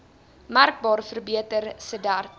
merkbaar verbeter sedert